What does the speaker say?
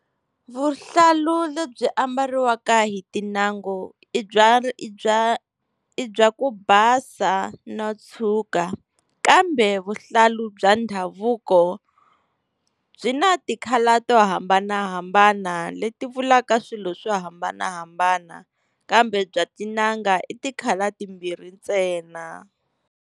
Vuhlalu lebyi ambariwaka hi tin'angu i by i bya i bya ku basa no tshuka, kambe vuhlalu bya ndhavuko byi na ti-colour to hambanahambana leti vulaka swilo swo hambanahambana. Kambe bya tin'anga i ti-colour timbirhi ntsena.